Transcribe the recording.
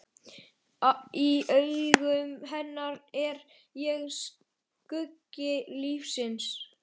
Í augum hennar er ég skuggi lífsins.